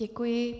Děkuji.